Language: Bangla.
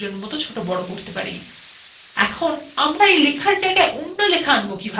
এখন আমরা এই লেখার জায়গায় অন্য লেখা আনব কিকরে